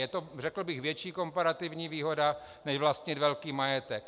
Je to, řekl bych, větší komparativní výhoda než vlastnit velký majetek.